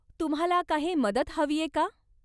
तुम्हाला काही मदत हवीय का?